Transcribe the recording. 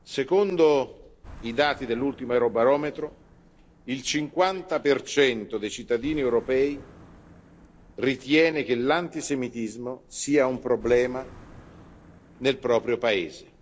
Secondo i dati dell'ultimo Eurobarometro, il 50 dei cittadini europei ritiene che l'antisemitismo sia un problema nel proprio Paese.